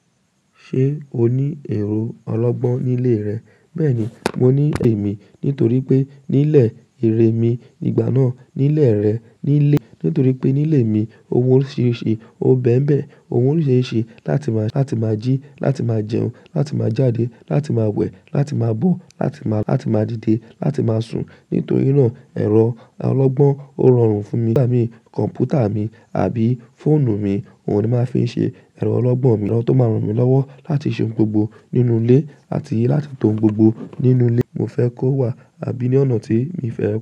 Ṣé o ní ẹrọ ọlọ́gbọ́n ní ilé rẹ? Bẹ́ẹ̀ni, mo ní ẹ̀ mi. Nítorí pé ní ilé irẹ̀ mi, ìgbà náà ní ilẹ̀ rẹ̀ ní ilé. Nítorí pé nílé mi, ohun òrisirisi, ó n bẹ̀mbẹ̀. Ohun òrisirisi láti máa, láti máa jí, láti máa jẹun, láti máa jáde, láti máa wẹ̀, láti máa bọ̀, láti máa, láti máa dìde, láti máa sùn. Nítorí náà ẹ̀rọ ọlọ́gbọ́n ó rọrùn fún mi. Kọ̀mpútà mi àbí fóònù mi, òun ni màá fi ń ṣe ẹ̀rọ ọlọ́gbọ́n mi, ero tó máa ràn mí lọ́wọ́ láti ṣe ohun gbogbo nínú ilé àti láti tọ́ ohun gbogbo nínú ilé mo fẹ́ kó wà, àbí ní ọ̀nà tí mi fẹ́